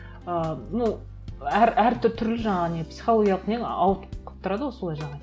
ыыы ну жаңағы не психологиялық не ауытқып тұрады солай жаңағы